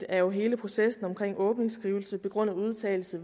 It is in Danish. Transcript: er jo hele processen omkring åbningsskrivelsen begrundede udtalelse